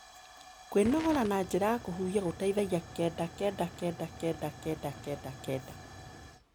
Kwĩnogora na njĩra ya kũhũhĩa gũteĩthagĩa 9999999